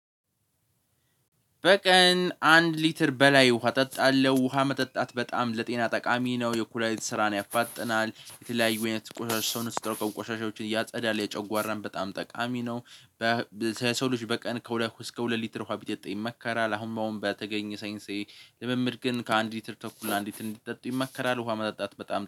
በቀን አንድ ሊትር በላይ ውሃ እጠጣለሁ ውሃ መጠጣት በጣም ለጤና ጠቃሚ ነው ለኩላሊት ስራን ያፋጥናል የተለያዩ የተቆራረጠ ሰው ነው ሲጠሩ ቆሻሻዎችን እያጸዳል የጨጓራን በጣም ጠቃሚ ነው። በሰው ልጅ በቀን ከሁለት እስከ ሁለት ሊትር ውሃ ቢጠጣ ይመከራል። አሁን በተገኘ ሴንሴ ልምምድ ግን ከአንድ ሊትር ተኩል አንድ ሊትር እንዲጠጡ ይመከራል ውሃ መጣጣት በጣም